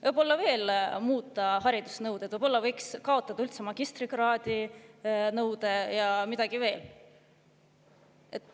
Võib-olla võiks veel muuta haridusnõudeid, näiteks kaotada üldse magistrikraadi nõude ja midagi veel.